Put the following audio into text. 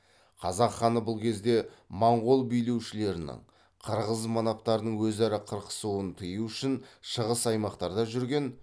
қазақ ханы бұл кезде моңғол билеушілерінің қырғыз манаптарының өзара қырқысуын тыю үшін шығыс аймақтарда жүрген